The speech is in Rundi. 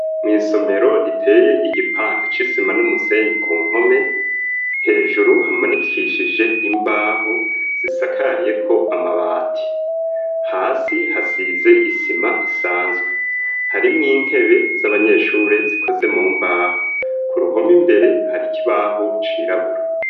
Mw'isomero riteye igipande c'isima n'umusenyi ku mpome hejuru hamanikishije imbaho zisakariyeko amabati hasi hasize isima isanzwe harimwo intebe z'abanyeshure zikoze mu mbaho ku ruhome imbere hari ikibaho cirabura.